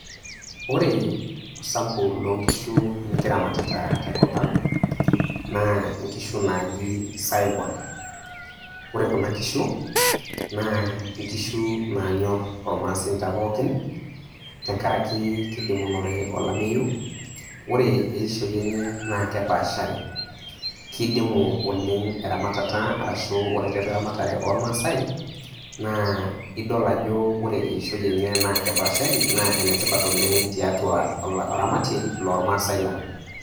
Ore sampu loo nkishu nikiramatita tenkopang', naa inkishu naaji isaiwal. Ore kuna kishu naa inkishu naa nyorr olmaasinta pookin, tenkaraki kidimunore olameyu, ore eishoi enye naa kepaashari, kidimu oleng' eramatata arashu ore tiatua eramatare oo maasai naa idol ajo ore eishoi enye naa kepaashari naa enetipat oleng' tiatua oramatie loo maasai lang'.